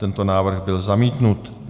Tento návrh byl zamítnut.